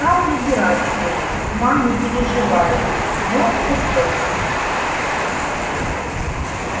стал набирать ей ма не переживай но осекся